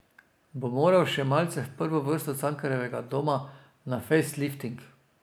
Bo moral še malce v prvo vrsto Cankarjevega doma na fejs lifting.